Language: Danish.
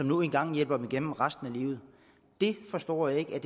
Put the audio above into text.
nu engang hjælper dem igennem resten af livet det forstår jeg ikke at